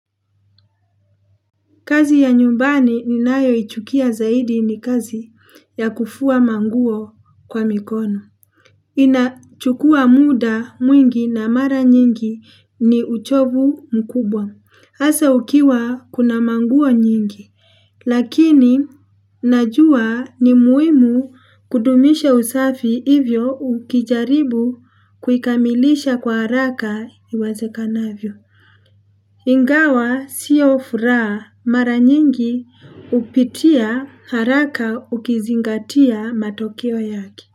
Kazi ya nyumbani ni nayo ichukia zaidi ni kazi ya kufua manguo kwa mikono. Inachukua muda mwingi na mara nyingi ni uchovu mkubwa. Asa ukiwa kuna manguo nyingi. Lakini najua ni muhimu kudumisha usafi, hivyo ukijaribu kuikamilisha kwa haraka iwazekanavyo. Ingawa siyo furaha, mara nyingi hupitia haraka ukizingatia matokeo yake.